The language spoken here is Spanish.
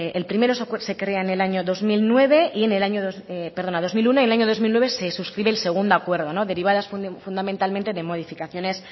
el primero se crea en el año dos mil uno y en el año dos mil nueve se suscribe el segundo acuerdo derivadas fundamentalmente de modificaciones